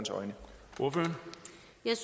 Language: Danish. et